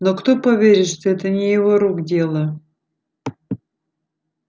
но кто поверит что это не его рук дело